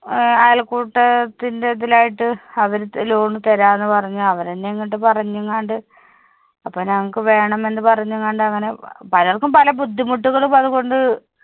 ഏർ അയൽക്കൂട്ടാ ത്തിന്റേതിലായിട്ടത് അവര് loan തരാന്ന് പറഞ് അവരെന്നെ ഇങ്ങട്ട് പറഞ്‍ എങ്ങാണ്ട് അപ്പോ ഞങ്ങക്ക് വേണം എന്ന് പറഞ്‍ എങ്ങാണ്ട് അങ്ങനെ പലർക്കും പല ബുദ്ധിമുട്ടുകളും അതുകൊണ്ട്